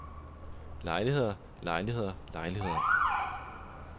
lejligheder lejligheder lejligheder